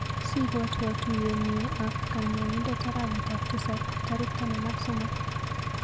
Sibwatwa tuiyenyu ak kanyaindet arawetap tisap tarik taman ak somok.